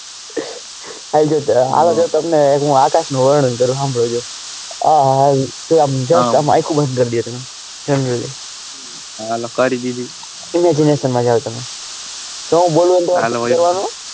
આઈ જાઓ તમને એક આકાશ નું વર્ણન કરું હામ્ભળ જો આ આયખું બન્દ કરી દઈએ generally હાલો કરી દીધી imagination માં જાઓ તમે જો એમ બોલું એમ કરવાનું.